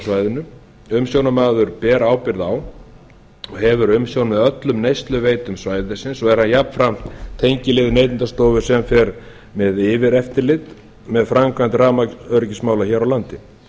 svæðinu og umsjónarmaður ber ábyrgð á og hefur umsjón með öllum neysluveitum svæðisins og vera jafnframt tengiliður neytendastofu sem fer með yfireftirlit með framkvæmd rafmagnsöryggismála hér á landi